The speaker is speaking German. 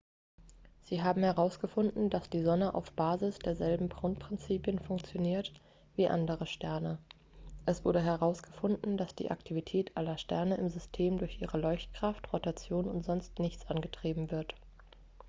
sie haben herausgefunden dass die sonne auf basis derselben grundprinzipien funktioniert wie andere sterne es wurde herausgefunden dass die aktivität aller sterne im system durch ihre leuchtkraft rotation und sonst nichts angetrieben wird